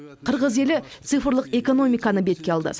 қырғыз елі цифрлық экономиканы бетке алды